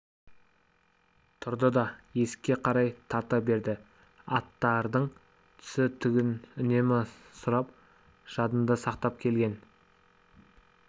тұрды да есікке қарай тарта берді аттардың түсі-түгін үнемі сұрап жадында сақтап келген